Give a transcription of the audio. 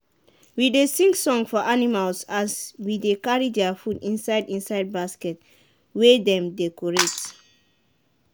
we dey sing for animals as we dey carry their food inside inside basket wey dem decorate.